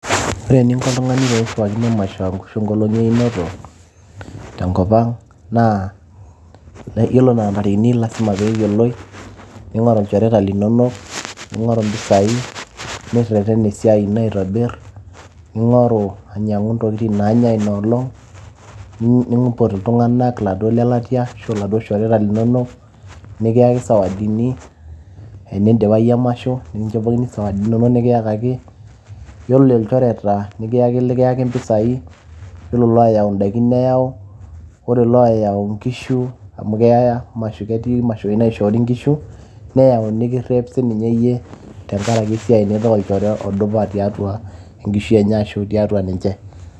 Ore eninko oltungani peshipakino emasho ashu enkolong einoto tenkopang naa yiolo anaa ntarikini naa lasima leyioloi ,ningoru ilchoreta linonok ,ningoru impisai ,nireten esiaai ino aitobir. Ningoru ainyiangu intokitin nanyae Ina olong ,nimpot iladuoo tunganak ashu ilelatia ,ashu iladuoo shoreta linonok ,nikiyaki sawadini ,tenidipayu emasho nikinchopkini sawadini inonok nikiyakaki ,yiolo ilchoreta likiyaki impisai ,yiolo ilooyau indaikin neyau ,ore layau inkishu ,amu ketii imashoi naishoori nkishu ,neyau nikirep sinye iyie